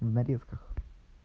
в нарезках